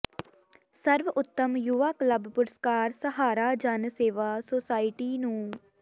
ਸਰਵ ਉੱਤਮ ਯੁਵਾ ਕਲੱਬ ਪੁਰਸਕਾਰ ਸਹਾਰਾ ਜਨ ਸੇਵਾ ਸੁਸਾਇਟੀ ਨੂੰ